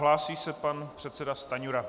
Hlásí se pan předseda Stanjura.